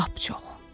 Lap çox.